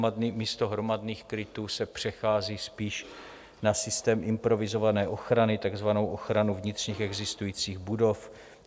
Místo hromadných krytů se přechází spíš na systém improvizované ochrany, takzvanou ochranu vnitřních existujících budov.